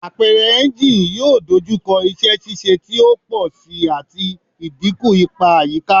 Apẹrẹ engine yoo dojukọ iṣẹ ṣiṣe ti o pọ si ati idinku ipa ayika